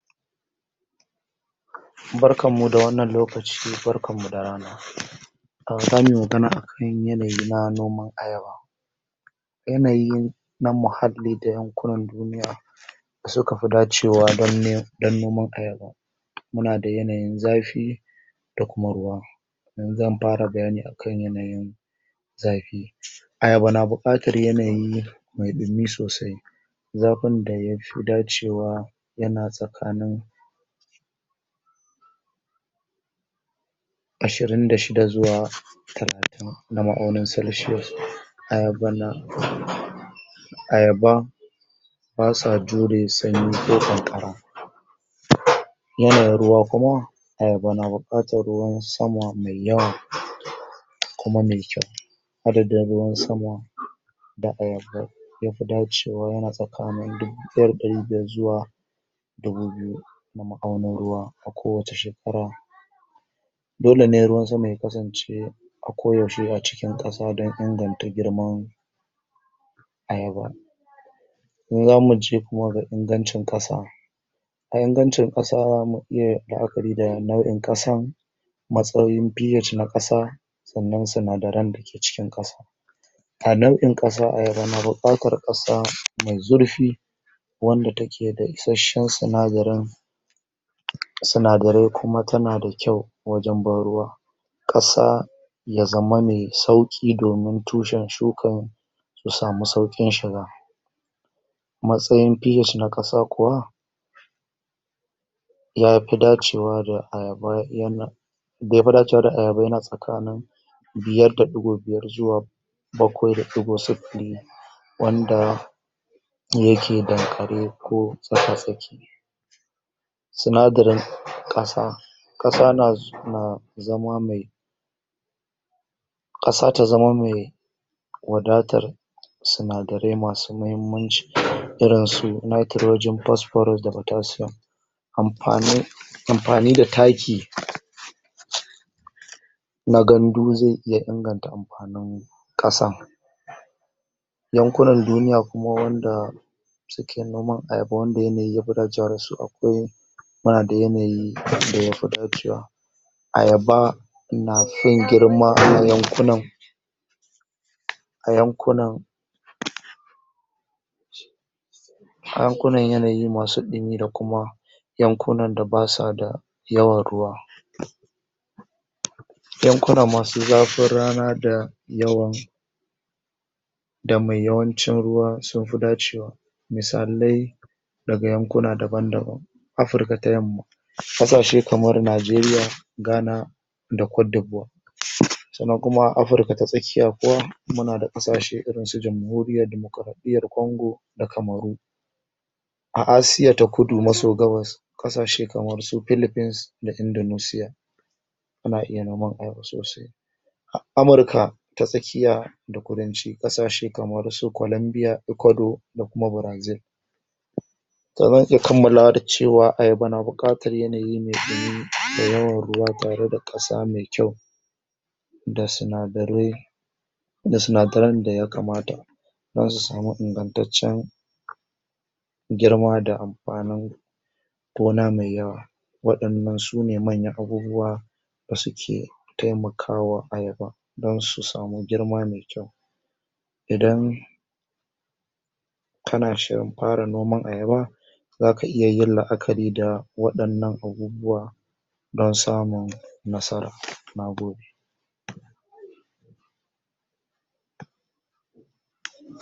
Barkanmmu da wannan lokaci barkanmmu da rana! a zanyi magana akan yanayi na noman ayaba, yanayin na muhalli da yankunan duniya du suka fi dacewa don ne... dan noman ayaba, muna da yanayin zafi da kuma ruwa, ni zan fara bayani akan yanayin zafi, ayaba na buƙatar yanayi me ɗumi sosai, zafin da yafi dacewa yana tsakanin ashirin da shida zuwa talatin na ma'aunin celsius, ayaba na ayaba basa jure sanyi ko ƙanƙara, yanayin ruwa kuma ayaba na buƙatar ruwan sama me yawa kuma me kyau, adadin ruwan sama da ayaba yafi dacewa yana tsakanin dubu ɗaya da ɗari biyar zuwa dubu biyu na ma'aunin ruwa a kowace shekara, dole ne ruwan sama ya kasance a koyaushe yana cikin ƙasa dan inganta ayaba, zamu je kuma ga ingancin ƙasa, a ingancin ƙasa zamu iya la'akari da nau'in ƙasan, matsayin PH na ƙasa sannan sinadaran da ke cikin ƙasa, a nau'in ƙasa ayaba na buƙatar ƙasa me zurfi, wanda take da isashshen sinadarin sinadarai kuma tana da kyau wajen ban ruwa, ƙasa ya zamana yai sauƙi domin tushen shukan ya samu sauƙin shiga, matsayin PH na ƙasa kuwa yafi dacewa da ayaba yana da yafi dacewa da ayaba yana tsakanin biyar da ɗigo biyar zuwa bakwai da ɗigo sifli, wanda yake danƙare ko tsaka tsaki, sinadarin ƙasa ƙasa naz... na zama me ƙasa ta zama me wadatar sinadarai masu mahimmanci irinsu: Nitrogen, phosphorus da potassium, amfani amfani da taki na gandu ze iya inganta amfanin ƙasan, yankunan duniya kuma wanda sike noman ayaba wanda yanayi yafi dacewa dasu a na da yanayi da yafi dacewa, ayaba na san girma a wannan yankunan a yankunan a yankunan yanayi masu ɗimi da kuma yankunan da basa da yawan ruwa, yankuna masu zafin rana da yawan da mai yawancin ruwa sunfi dacewa misalai daga yankuna daban daban: Afirka ta yamma ƙasashe kamar Najeriya, Ghana, da kwadebuwa, sannan kuma Afirka ta tsakiya kuma muna da ƙasashe irin su jamhuriyar dimokraɗiyyar kongo da kamaru, a Asia ta kudu maso gabas ƙashe kamar philphines da indunusiya ana iya noman ayaba sosai, a Amurka ta tsakiya da kudanci ƙasashe kamar su Kolambiya, Ekodo da kuma Brazil. Kaman an iya kammalawa da cewa ayaba na buƙatar yanayi me ɗumi da yawan ruwa tare da ƙasa me kyau, da sinadarai da sinadaran da yakamata dan su samu ingantaccen girma da amfanin tona me yawa, waƴannan sune manyan abubuwa da suke taimakawa ayaba dan su samu girma me kyau. Idan kana shirin fara noman ayaba zaka iya yin la'akari da waɗannan abubuwa dan samun nasara, na gode.